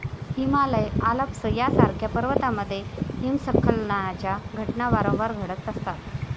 Himalaya, Alps यासारख्या पर्वतामध्ये हिमस्खलनाच्या घटना वारंवार घडत असतात.